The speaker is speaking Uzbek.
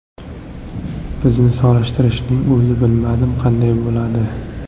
Bizni solishtirishning o‘zi, bilmadim, qanday bo‘ladi?